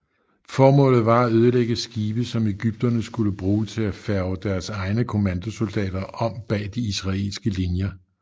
Formålet var at ødelægge skibe som egypterne skulle bruge til at færge deres egne kommandosoldater om bag de israelske linjer